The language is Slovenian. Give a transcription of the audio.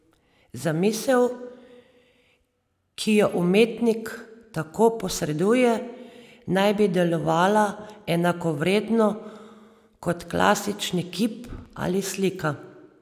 Zamisel, ki jo umetnik tako posreduje, naj bi delovala enakovredno kot klasični kip ali slika.